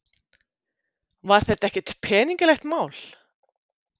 Var þetta ekkert peningalegt mál?